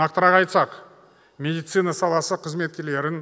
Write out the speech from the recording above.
нақтырақ айтсақ медицина саласы қызметкерлерін